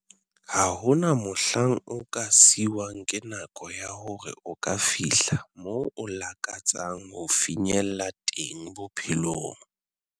"Ha hona mohlang o ka siuwang ke nako ya hore o ka fihla moo o lakatsang ho finyella teng bophelong."